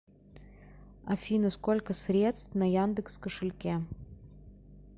афина сколько средств на яндекс кошельке